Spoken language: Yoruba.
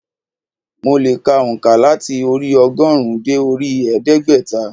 Mo le è ka ònká láti orí i ogórùn ún dé orí i ẹdégbẹ́ta